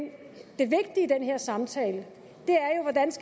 det vigtige i den her samtale